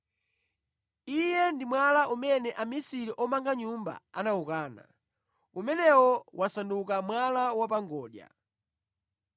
Iye ndi “ ‘Mwala umene amisiri omanga nyumba anawukana, umenewo wasanduka mwala wa pa ngodya!’